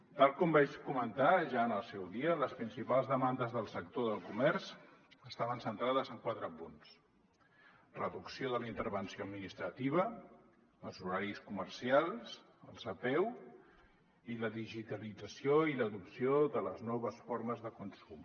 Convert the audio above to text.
tal com vaig comentar ja en el seu dia les principals demandes del sector del comerç estaven centrades en quatre punts reducció de la intervenció administrativa els horaris comercials les apeu i la digitalització i l’adopció de les noves formes de consum